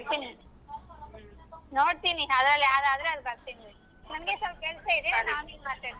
ಬರ್ತೀನಿ ನೋಡ್ತೀನಿ ಅದ್ರಲ್ಲಿ ಯಾವದಾದ್ರೆ ಅದ್ಕೆ ಬರ್ತೀನಿ ನಂಗೆ ಸ್ವಲ್ಪ ಕೆಲ್ಸ ಇದೆ ನಾನ್ ಆಮೇಲ್ ಮಾತಾಡ್ತೀನಿ.